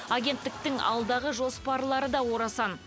агенттіктің алдағы жоспарлары да орасан